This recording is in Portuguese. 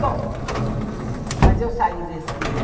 Bom, mas eu saí desse